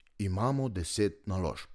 Imamo deset naložb.